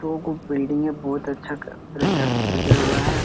दो गो बिल्डिंगे है बहुत अच्छा तरीका से सज़ा हुआ है ।